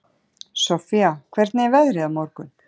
Sofía, hvernig er veðrið á morgun?